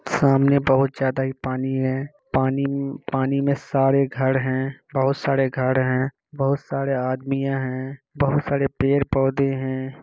सामने बाहुत ज्यादा हीं पानी हैं पानी पानी में सारे घर हैं बहुत सारे घर हैं बहूत सारे आदमियां हैं बहुत सारे पड़े-पौधे हैं।